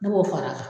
Ne b'o fara a kan